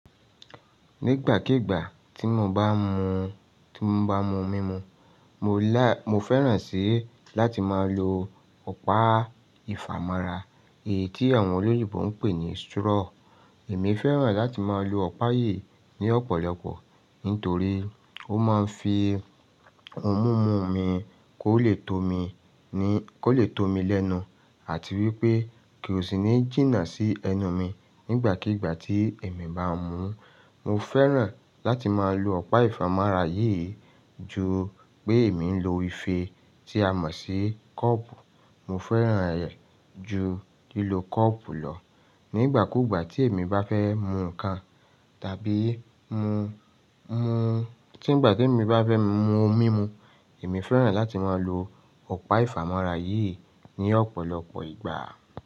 Nígbàkígbà tí mo bá mú, tí mo bá mú mímu, mo lá-- mo fẹ́ràn sí láti má lọ ọ̀pá ìfàmọ́ra, èyí tí àwọn olóyìnbo ń pè ní straw. Èmi fẹ́ràn láti má lọ ọ̀pá yìí ní ọ̀pọ̀lọpọ̀, nítorí ó mouń fi oun mumu mi kó le tó mi, ní, kó le tó mi lẹ́nu àti wípé kosìnì jína sí ẹnu mi nígbàkígbà tí èmi bá ń mu. Mo fẹ́ràn láti má lọ ọ̀pá ìfàmọ́ra yìí ju pé èmi ń lo ife tí a mọ̀ sí kọ́ọ̀pù. Mo fẹ́ràn rẹ̀ ju lílo kọ́ọ̀pù lọ. Nígbà kúgbà tí èmi bá fẹ́ mu ǹkan tàbí mu, mu, tí ìgbà tí èmi bá fẹ́ mu mímu, èmi fẹ́ràn láti má lọ ọ̀pá ìfàmọ́ra yìí ní ọ̀pọ̀lọpọ̀ ìgbà.